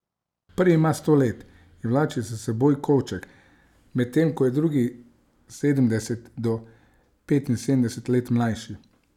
Prvi ima sto let in vlači s seboj kovček, medtem ko je drugi sedemdeset do petinsedemdeset let mlajši.